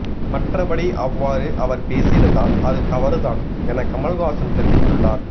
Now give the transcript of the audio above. மற்றபடி அவ்வாறு அவர் பேசியிருந்தால் அது தவறுதான் என கமல்ஹாசன் தெரிவித்துள்ளார்